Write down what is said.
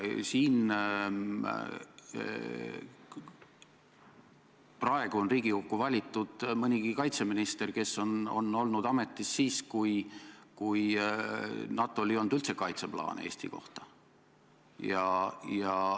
Praegu on Riigikokku valitud mõnigi kaitseminister, kes oli ametis siis, kui NATO-l ei olnud üldse kaitseplaani Eesti kohta.